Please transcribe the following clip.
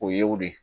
O ye o de ye